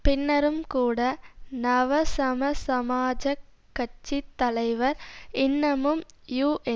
பின்னரும் கூட நவசமசமாஜக் கட்சி தலைவர் இன்னமும் யூஎன்பி